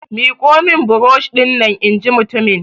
Miƙo min burosh dinnan! in ji mutumin!